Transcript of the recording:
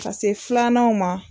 Ka se filananw ma